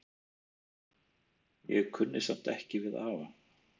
Ég kunni samt ekki við afa.